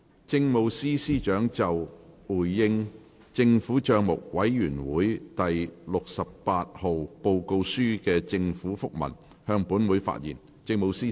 政務司司長就"回應政府帳目委員會第六十八號報告書的政府覆文"向本會發言。